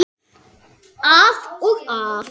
Að og af.